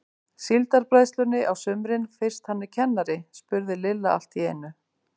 Síldarbræðslunni á sumrin fyrst hann er kennari? spurði Lilla allt í einu.